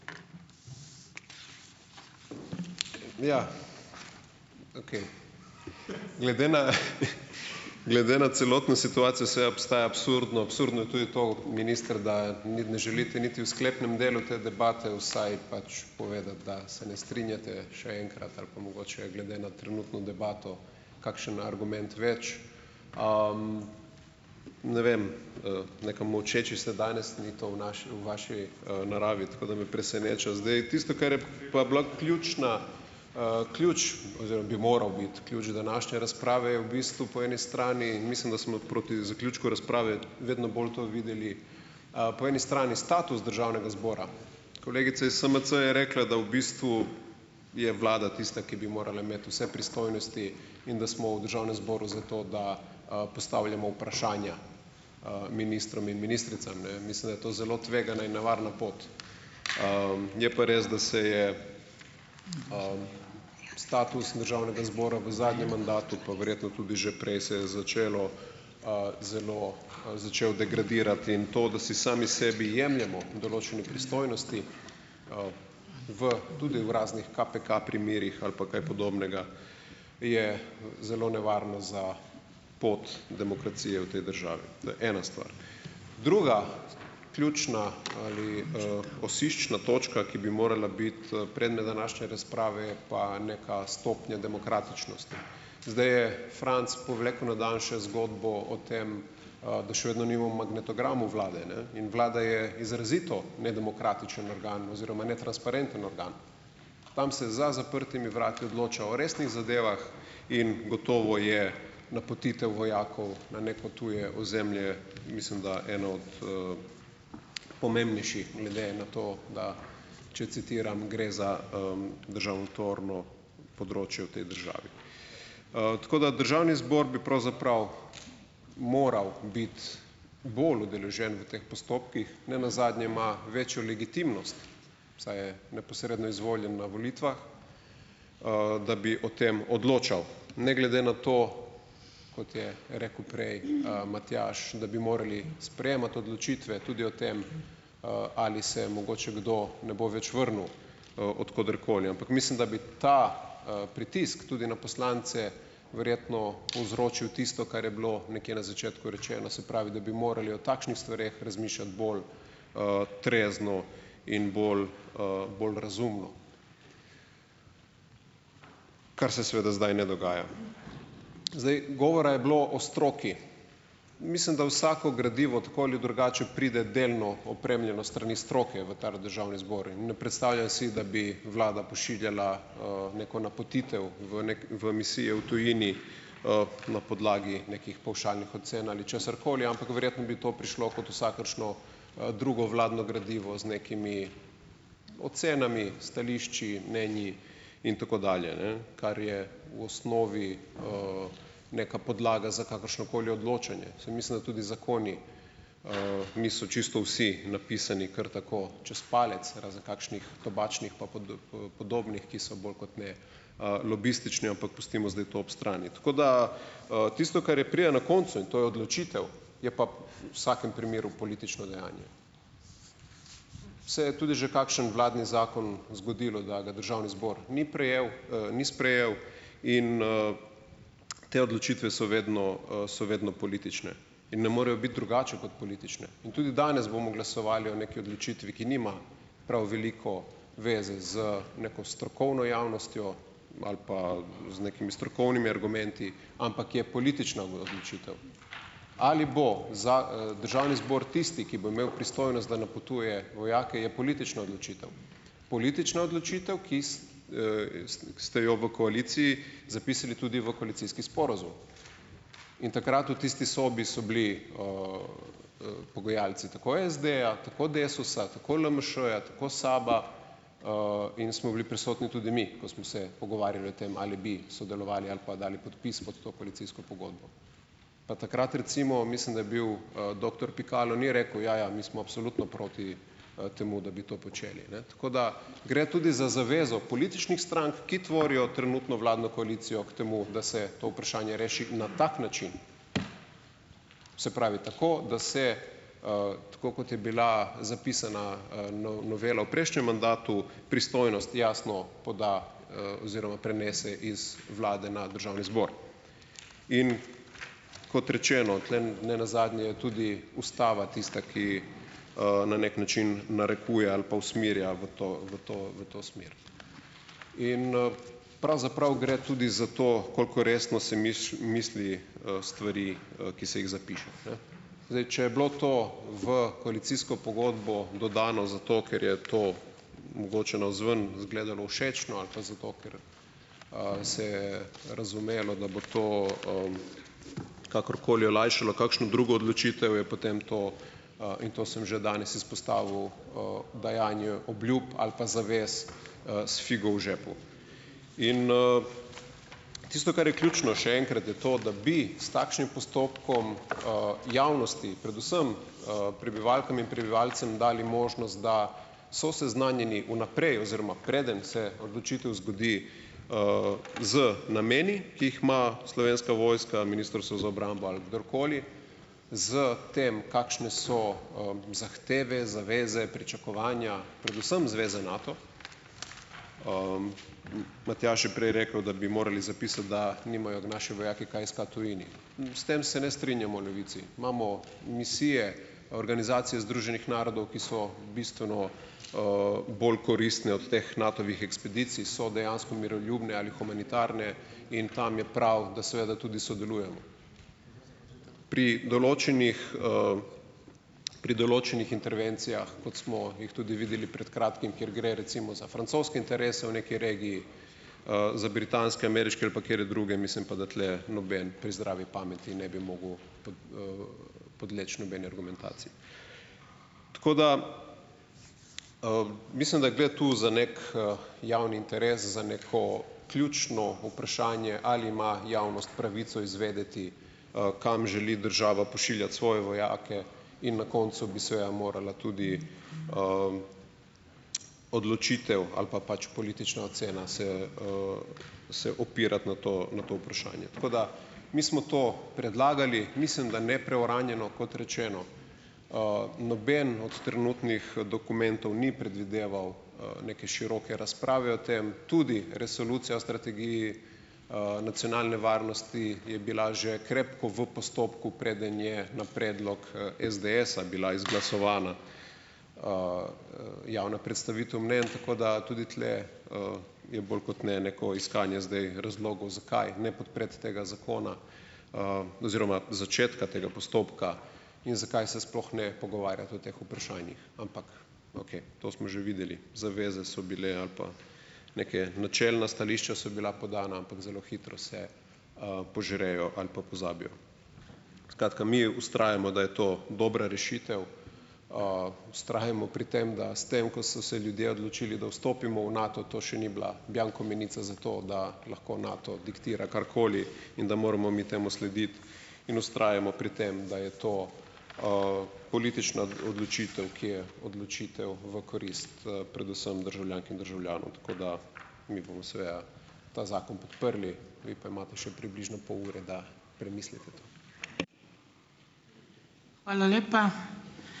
Ja, okej, glede na glede na celotno situacijo seveda postaja absurdno, absurdno je tudi to, minister, da ni ne želite niti v sklepnem delu te debate vsaj pač povedati, da se ne strinjate, še enkrat, ali pa mogoče, glede na trenutno debato, kakšen argument več. Ne vem, nekam molčeči ste danes, ni to v naši, v vaši, naravi, tako da me preseneča. Zdaj, tisto, kar je pa bila ključna, ključ oziroma bi moral biti ključ današnje razprave, je v bistvu, po eni strani, mislim, da smo proti zaključku razprave vedno bolj to videli, po eni strani status državnega zbora. Kolegica iz SMC je rekla, da v bistvu je vlada tista, ki bi morala imeti vse pristojnosti in da smo v državnem zboru za to, da, postavljamo vprašanja, ministrom in ministricam, ne. Mislim, da je to zelo tvegana in nevarna pot, je pa res, da se je, status državnega zbora v zadnjem mandatu, pa verjetno tudi že prej, se je začelo, zelo, začel degradirati in to, da si sami sebi jemljemo določene pristojnosti, v, tudi v raznih KPK primerih ali pa kaj podobnega, je zelo nevarno za pot demokracije v tej državi. To je ena stvar. Druga, ključna ali, "osiščna" točka, ki bi morala biti, predmet današnje razprave, je pa neka stopnja demokratičnosti. Zdaj je Franc povlekel na dan še zgodbo o tem, da še vedno nimamo magnetogramov vlade ne, in vlada je izrazito nedemokratičen organ oziroma netransparenten organ. Tam se za zaprtimi vrati odloča o resnih zadevah in gotovo je napotitev vojakov na neko tuje ozemlje, mislim da, eno od, pomembnejših, glede na to da, če citiram: "Gre za, državotvorno področje v tej državi." Tako da državni zbor bi pravzaprav moral biti bolj udeležen v teh postopkih. Ne nazadnje ima večjo legitimnost, saj je neposredno izvoljen na volitvah, da bi o tem odločal. Ne glede na to, kot je rekel prej, Matjaž, da bi morali sprejemati odločitve tudi o tem, ali se mogoče kdo ne bo več vrnil od koderkoli, ampak mislim, da bi ta, pritisk tudi na poslance verjetno povzročil tisto, kar je bilo nekje na začetku rečeno, se pravi, da bi morali o takšnih stvareh razmišljati bolj, trezno in bolj, bolj razumno, kar se seveda zdaj ne dogaja. Zdaj, govora je bilo o stroki. Mislim, da vsako gradivo tako ali drugače pride delno opremljeno s strani stroke v tale državni zbor, in ne predstavljam si, da bi vlada pošiljala, neko napotitev v v misije v tujini, na podlagi nekih pavšalnih ocen ali česarkoli, ampak verjetno bi to prišlo kot vsakršno, drugo vladno gradivo z nekimi ocenami, stališči, mnenji, in tako dalje, ne, kar je v osnovi, neka podlaga za kakršnokoli odločanje. Saj mislim, da tudi zakoni, niso čisto vsi napisani kar tako čez palec, razen kakšnih tobačnih pa podobnih, ki so bolj kot ne, lobistični, ampak pustimo zdaj to ob strani. Tako da, tisto, kar je pride na koncu, in to je odločitev, je pa v vsakem primeru politično dejanje. Saj je tudi že kakšen vladni zakon zgodilo, da ga državni zbor ni prejel, ni sprejel, in, te odločitve so vedno, so vedno politične in ne morejo biti drugače kot politične in tudi danes bomo glasovali o neki odločitvi, ki nima prav veliko veze z neko strokovno javnostjo ali pa z nekimi strokovnimi argumenti, ampak je politična odločitev. Ali bo državni zbor tisti, ki bo imel pristojnost, da napotuje vojake, je politična odločitev. Politična odločitev, ki ste jo v koaliciji zapisali tudi v koalicijski sporazum, in takrat v tisti sobi so bili, pogajalci tako SD-ja tako Desusa, tako LMŠ-ja, tako SAB-a, in smo bili prisotni tudi mi, ko smo se pogovarjali o tem, ali bi sodelovali ali pa dali podpis pod to koalicijsko pogodbo. Pa takrat recimo mislim, da je bil, doktor Pikalo ni rekel: "Ja, ja, mi smo absolutno proti, temu, da bi to počeli, ne." Tako, da gre tudi za zavezo političnih strank, ki tvorijo trenutno vladno koalicijo k temu, da se to vprašanje reši na tak način. Se pravi, tako da se, tako kot je bila zapisana, novela v prejšnjem mandatu, pristojnost jasno poda, oziroma prenese iz vlade na državni zbor. In kot rečeno, tule nenazadnje je tudi ustava tista, ki, na neki način narekuje ali pa usmerja v to, v to, v to smer. In, pravzaprav gre tudi za to, koliko resno se misli, stvari, ki se jih zapiše, ne. Zdaj, če je bilo to v koalicijsko pogodbo dodano zato, ker je to mogoče navzven izgledalo všečno ali pa zato, ker, se je razumelo, da bo to, kakorkoli olajšalo kakšno drugo odločitev, je potem to, in to sem že danes izpostavil, dajanju obljub ali pa zavez, s figo v žepu. In, tisto, kar je ključno, še enkrat, je to, da bi s takšnim postopkom, javnosti, predvsem, prebivalkam in prebivalcem, dali možnost, da so seznanjeni vnaprej, oziroma preden se odločitev zgodi, z nameni, ki jih ima Slovenska vojska, Ministrstvo za obrambo ali kdorkoli, s tem, kakšne so, zahteve, zaveze, pričakovanja, predvsem zveze Nato. Matjaž je prej rekel, da bi morali zapisati, da nimajo naši vojaki kaj iskati v tujini. S tem se ne strinjamo v Levici. Imamo misije, Organizacije združenih narodov, ki so bistveno, bolj koristne od teh Natovih ekspedicij, so dejansko miroljubne ali humanitarne, in tam je prav, da seveda tudi sodelujemo. Pri določenih, pri določenih intervencijah, kot smo jih tudi videli pred kratkim, kjer gre recimo za francoske interese v neki regiji, za britanske, ameriške ali pa katere druge, mislim pa, da tule noben pri zdravi pameti ne bi mogel podleči nobeni argumentaciji. Tako da, mislim, da je, gre tu za neki javni interes, za neko ključno vprašanje, ali ima javnost pravico izvedeti, kam želi država pošiljati svoje vojake, in na koncu bi seveda morala tudi, odločitev ali pa pač politična ocena se, se opirati na to, na to vprašanje. Tako da, mi smo to predlagali, mislim, da ne preuranjeno. Kot rečeno, noben od trenutnih, dokumentov ni predvideval, neke široke razprave o tem, tudi Resolucija o strategiji, nacionalne varnosti je bila že krepko v postopku, preden je na predlog, SDS-a bila izglasovana, javna predstavitev mnenj, tako da tudi tule, je bolj kot ne neko iskanje zdaj razlogov, zakaj ne podpreti tega zakona, oziroma začetka tega postopka in zakaj se sploh ne pogovarjati o teh vprašanjih. Ampak okej, to smo že videli. Zaveze so bile, ali pa neke načelna stališča so bila podana, ampak zelo hitro se, požrejo ali pa pozabijo. Skratka, mi vztrajamo, da je to dobra rešitev. Vztrajamo pri tem, da s tem ko so se ljudje odločili, da vstopimo v Nato, to še ni bila bianco menica za to, da lahko Nato diktira karkoli, in da moramo mi temu slediti, in vztrajamo pri tem, da je to, politična odločitev, ki je odločitev v korist, predvsem državljank in državljanov, tako da mi bomo seveda ta zakon podprli, vi pa imate še približno pol ure, da premislite to.